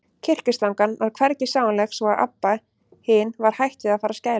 Kyrkislangan var hvergi sjáanleg, svo að Abba hin var hætt við að fara að skæla.